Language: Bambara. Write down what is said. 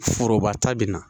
Foroba ta bɛ na